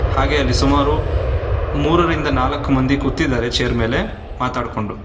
ಹಾಗೆ ಅಲ್ಲಿ ಸುಮಾರು ಮುರರಿಂದ ನಾಲ್ಕ ಮಂದಿ ಕೂತಿದ್ದಾರೆ ಚೇರ್ ಮೇಲೆ--